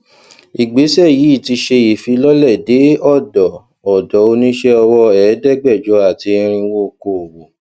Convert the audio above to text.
ìgbésẹ yìí ti ṣe ìfilọlẹ dé ọdọ ọdọ oníṣẹ ọwọ ẹdẹgbẹjọ àti irinwó okoòwò